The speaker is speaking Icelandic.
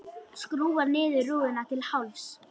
Skrúfar niður rúðuna til hálfs.